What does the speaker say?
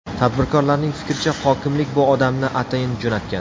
Tadbirkorlarning fikricha, hokimlik bu odamni atayin jo‘natgan.